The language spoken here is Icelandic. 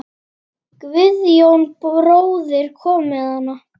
Guðjón bróðir kom með hana.